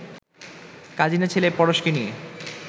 কাজিনের ছেলে পরশকে নিয়ে